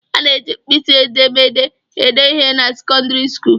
A na-eji mkpịsị edemede ede ihe na sekọndịrị skuulu